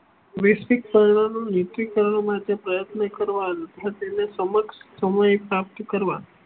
વૈશ્વિક કર્ણનું નિશ્ચિક કર્ણ માટે પ્રયત્નો કરવા તથા તેના સમક્ષ સમય પ્રાપ્ત કરવા